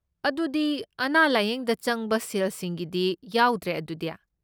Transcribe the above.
ꯑꯗꯨꯗꯤ ꯑꯅꯥ ꯂꯥꯌꯦꯡꯗ ꯆꯪꯕ ꯁꯦꯜꯁꯤꯡꯒꯤꯗꯤ ꯌꯥꯎꯗ꯭ꯔꯦ ꯑꯗꯨꯗꯤ?